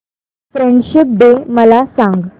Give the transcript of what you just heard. friendship day मला सांग